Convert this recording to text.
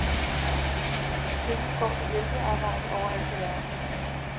Pengene går til hjælpearbejde overalt i verden.